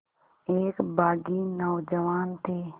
एक बाग़ी नौजवान थे